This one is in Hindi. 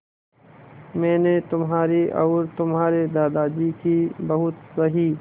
मैंने तुम्हारी और तुम्हारे दादाजी की बहुत सही